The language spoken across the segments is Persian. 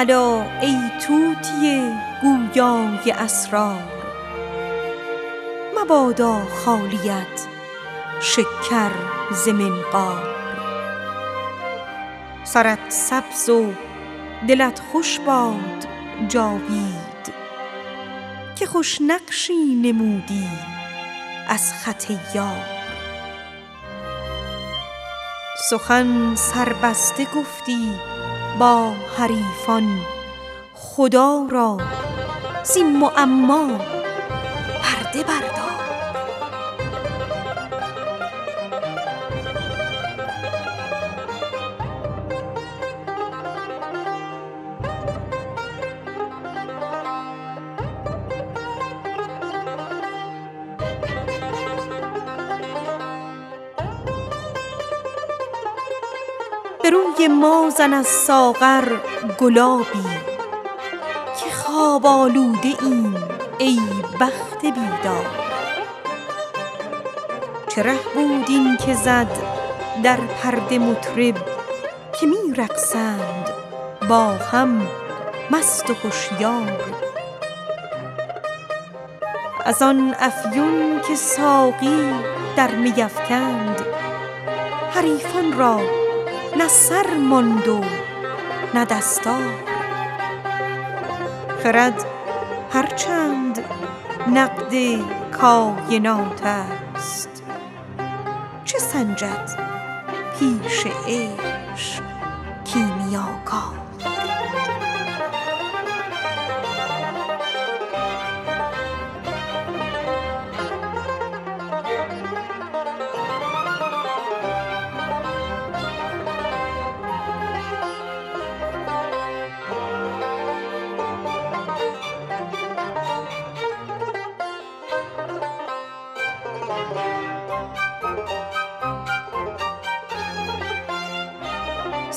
الا ای طوطی گویا ی اسرار مبادا خالیت شکر ز منقار سرت سبز و دلت خوش باد جاوید که خوش نقشی نمودی از خط یار سخن سربسته گفتی با حریفان خدا را زین معما پرده بردار به روی ما زن از ساغر گلابی که خواب آلوده ایم ای بخت بیدار چه ره بود این که زد در پرده مطرب که می رقصند با هم مست و هشیار از آن افیون که ساقی در می افکند حریفان را نه سر ماند نه دستار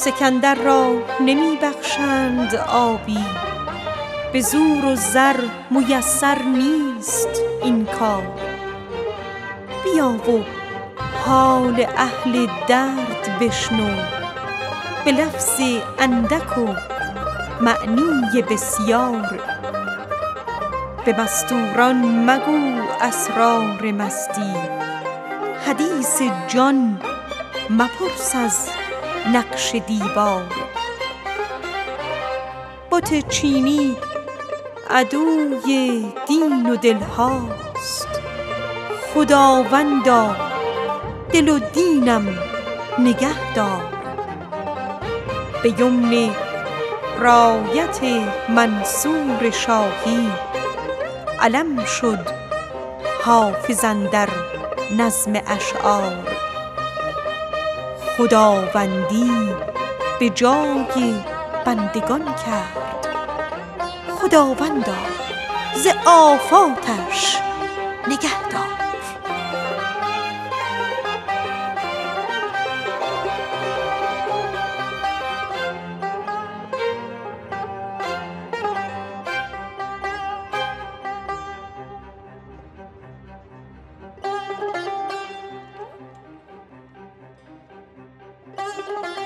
سکندر را نمی بخشند آبی به زور و زر میسر نیست این کار بیا و حال اهل درد بشنو به لفظ اندک و معنی بسیار بت چینی عدوی دین و دل هاست خداوندا دل و دینم نگه دار به مستور ان مگو اسرار مستی حدیث جان مگو با نقش دیوار به یمن دولت منصور شاهی علم شد حافظ اندر نظم اشعار خداوندی به جای بندگان کرد خداوندا ز آفاتش نگه دار